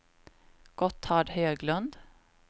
Gotthard Höglund